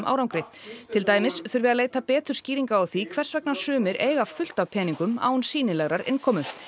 árangri til dæmis þurfi að leita betur skýringa á því hvers vegna sumir eiga fullt af peningum án sýnilegrar innkomu